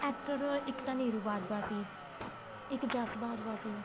actor ਇੱਕ ਤਾਂ ਨਿਰੂ ਬਾਜਵਾ ਸੀ ਇੱਕ ਜੱਸ ਬਾਜਵਾ ਸੀ